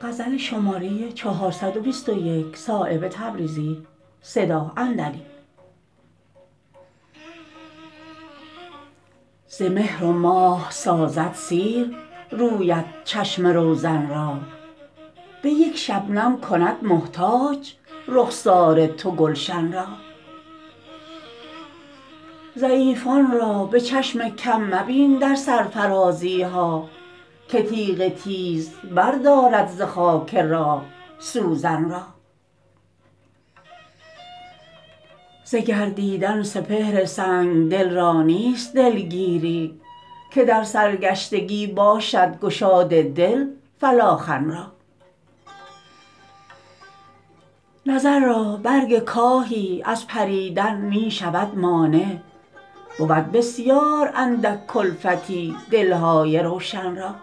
ز مهر و ماه سازد سیر رویت چشم روزن را به یک شبنم کند محتاج رخسار تو گلشن را ضعیفان را به چشم کم مبین در سرفرازی ها که تیغ تیز بر دارد ز خاک راه سوزن را ز گردیدن سپهر سنگدل را نیست دلگیری که در سرگشتگی باشد گشاد دل فلاخن را نظر را برگ کاهی از پریدن می شود مانع بود بسیار اندک کلفتی دلهای روشن را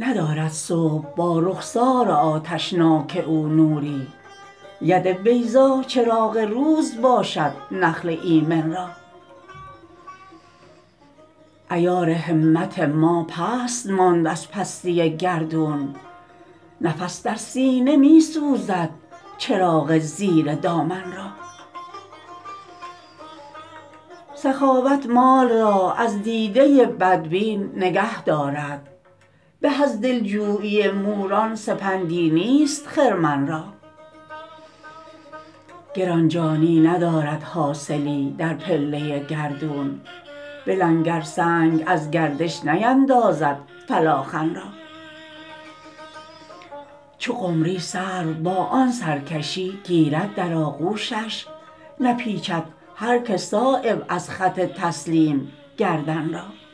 ندارد صبح با رخسار آتشناک او نوری ید بیضا چراغ روز باشد نخل ایمن را عیار همت ما پست ماند از پستی گردون نفس در سینه می سوزد چراغ زیر دامن را سخاوت مال را از دیده بدبین نگه دارد به از دلجویی موران سپندی نیست خرمن را گرانجانی ندارد حاصلی در پله گردون به لنگر سنگ از گردش نیندازد فلاخن را چو قمری سرو با آن سرکشی گیرد در آغوشش نپیچد هر که صایب از خط تسلیم گردن را